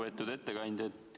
Lugupeetud ettekandja!